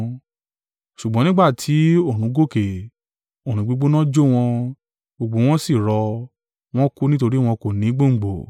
Ṣùgbọ́n nígbà tí oòrùn gòkè, oòrùn gbígbóná jó wọn, gbogbo wọn sì rọ, wọ́n kú nítorí wọn kò ni gbòǹgbò.